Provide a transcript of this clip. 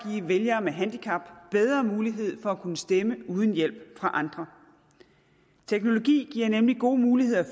vælgere med handicap bedre mulighed for at kunne stemme uden hjælp fra andre teknologi giver nemlig gode muligheder